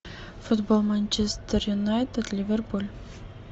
футбол манчестер юнайтед ливерпуль